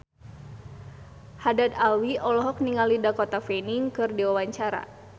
Haddad Alwi olohok ningali Dakota Fanning keur diwawancara